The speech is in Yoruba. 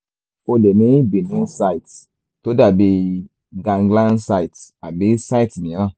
ó lè ní benign cyst tó dàbíi ganglion cyst tàbí cyst mìíràn